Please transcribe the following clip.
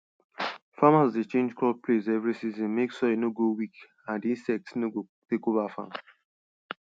farmers dey change crop place every season make soil no go weak and insects no go take over farm